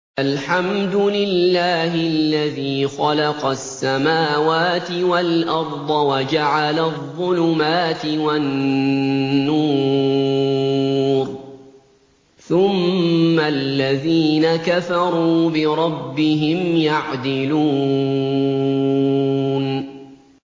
الْحَمْدُ لِلَّهِ الَّذِي خَلَقَ السَّمَاوَاتِ وَالْأَرْضَ وَجَعَلَ الظُّلُمَاتِ وَالنُّورَ ۖ ثُمَّ الَّذِينَ كَفَرُوا بِرَبِّهِمْ يَعْدِلُونَ